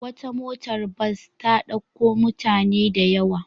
Wata motar bas ta ɗauko mutane da yawa.